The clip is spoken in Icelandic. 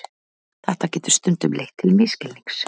Þetta getur stundum leitt til misskilnings.